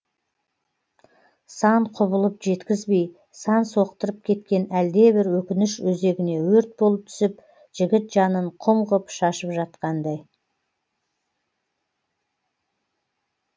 сан құбылып жеткізбей сан соқтырып кеткен әлдебір өкініш өзегіне өрт болып түсіп жігіт жанын құм ғып шашып жатқандай